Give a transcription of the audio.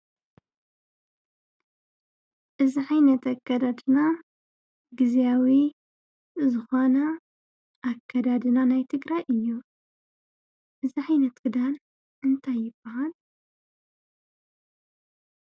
እዚ ዓይነት ኣከዳድና ግዝያዊ ዝኮነ ኣከዳድና ናይ ትግራይ እዩ፡፡ እዚ ዓይነት ክዳን እንታይ ይባሃል?